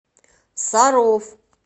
саров